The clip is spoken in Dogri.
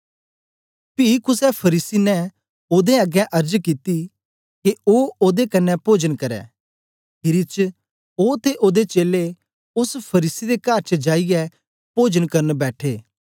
पी कुसे फरीसी ने ओदे अगें अर्ज कित्ती के ओ ओदे कन्ने पोजन करै खीरी च ओ ते ओदे चेलें ओस फरीसी दे कर च जाईयै पोजन करन बैठे